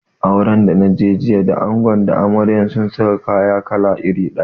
Auren da naje jiya da ango da amarya sun saka kalan kaya iri daya